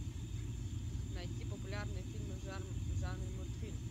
найти популярные фильмы в жанре мультфильм